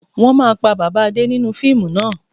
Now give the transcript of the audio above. Wọn máa pa bàbà Adé nínú fíìmù náà